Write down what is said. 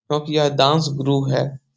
क्योंकि यह डांस गुरु है।